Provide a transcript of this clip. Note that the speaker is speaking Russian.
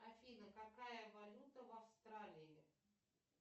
афина какая валюта в австралии